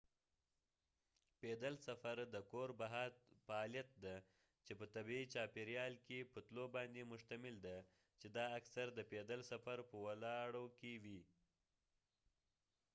پیدل سفر د کور بهر فعالیت دی چې په طبیعي چاپیریال کې په تلو باندې مشتمل دی چې دا اکثر د پیدل سفر په لارو کې وي